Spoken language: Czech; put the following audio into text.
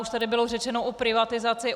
Už tady bylo řečeno o privatizaci.